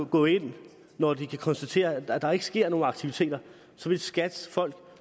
gå ind når de kan konstatere at der ikke sker nogen aktiviteter vil skats folk